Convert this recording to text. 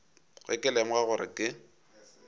ge ke lemoga gore ke